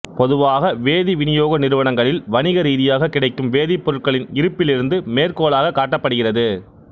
பொதுவாக வேதி விநியோக நிறுவனங்களில் வணிக ரீதியாக கிடைக்கும் வேதிப்பொருட்களின் இருப்பிலிருந்து மேற்கோளாகக் காட்டப்படுகிறது